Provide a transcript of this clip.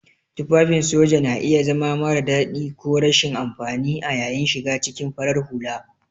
Tufafin soja na iya zama mara dadi ko rashin amfani a yayin shiga cikin farar hula.